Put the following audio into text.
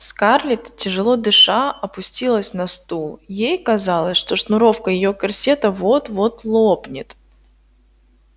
скарлетт тяжело дыша опустилась на стул ей казалось что шнуровка её корсета вот-вот лопнет